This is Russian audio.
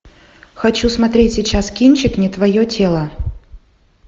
хочу смотреть сейчас кинчик не твое тело